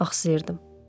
axsyırdım.